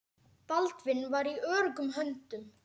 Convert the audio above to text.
Baldvin var í öruggum höndum.